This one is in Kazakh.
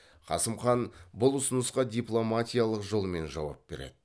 қасым хан бұл ұсынысқа дипломатикалық жолмен жауап береді